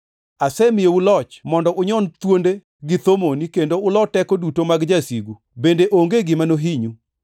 Asemiyou loch mondo unyon thuonde gi thomoni kendo uloo teko duto mag jasigu bende onge gima nohinyu.